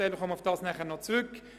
Darauf komme ich noch zurück.